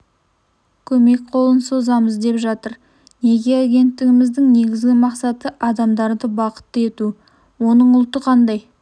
көмек қолын созамыз деп жатыр неке агенттігіміздің негізгі мақсаты адамдарды бақытты ету оның ұлты қандай